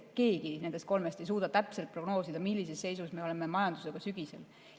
Keegi meist kolmest ei suuda täpselt prognoosida, millises seisus me oleme majandusega sügisel.